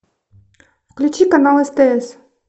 включи канал стс